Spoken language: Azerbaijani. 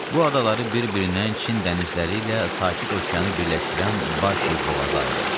Bu adaları bir-birindən Çin dənizləri ilə sakit okeanı birləşdirən Başi boğazı ayırır.